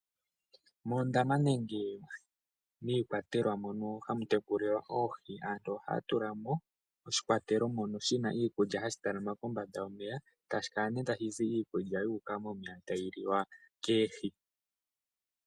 Moondama nenge miikwatelwa mono hamu tekulilwa oohi, aantu ohaya tulamo oshikwatelo shono shina iikulya , hashi talama kombanda yomeya, etashi kala tashi zi iikulya mbyoka tayi liwa oohi.